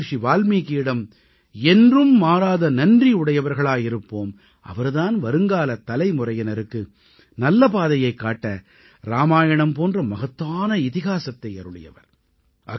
நாம் மஹரிஷி வால்மீகியிடம் என்றும் மாறாத நன்றியுடைவர்களாய் இருப்போம் அவர் தான் வருங்காலத் தலைமுறையினருக்கு நல்ல பாதையைக் காட்ட இராமாயணம் போன்ற மகத்தான இதிஹாஸத்தை அருளியவர்